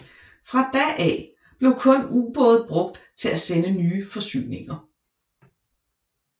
Fra da af blev kun ubåde brugt til at sende nye forsyninger